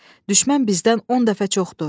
Düşmən bizdən 10 dəfə çoxdur.